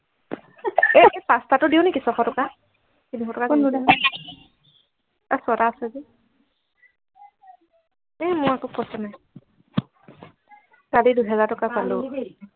এই পাঁচটা টো দিও নেকি ছশ টকা কোনটো ছটা আছে যে এই মোৰ আকৌ পইছা নাই চাবি দুহেজাৰ টকা পালো